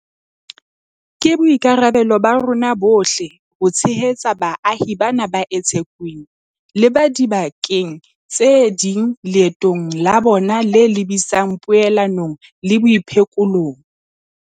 Ke boikarabelo ba rona bohle ho tshehetsa baahi bana ba eThekwini le ba dibakeng tse ding leetong la bona le lebisang poelanong le boiphekolong.